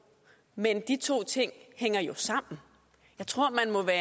men de to ting hænger jo sammen jeg tror at man må være